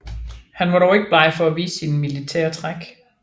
Han var dog ikke bleg for at vise sine militære træk